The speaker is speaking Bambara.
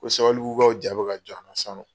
Ko sabalibugukaw ja bɛ ka jɔ an la sisan nɔ.